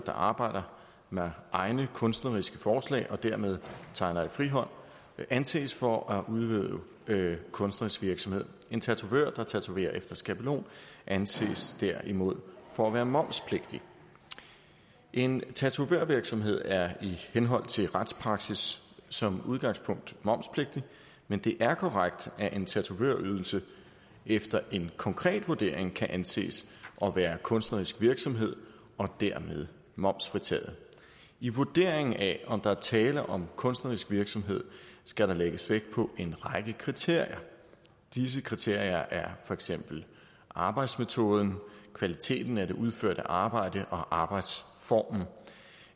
der arbejder med egne kunstneriske forslag og dermed tegner i fri hånd anses for at udøve kunstnerisk virksomhed en tatovør der tatoverer efter skabelon anses derimod for at være momspligtig en tatovørvirksomhed er i henhold til retspraksis som udgangspunkt momspligtig men det er korrekt at en tatovørydelse efter en konkret vurdering kan anses at være kunstnerisk virksomhed og dermed momsfritaget i vurderingen af om der er tale om kunstnerisk virksomhed skal der lægges vægt på en række kriterier disse kriterier er for eksempel arbejdsmetoden kvaliteten af det udførte arbejde og arbejdsformen